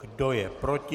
Kdo je proti?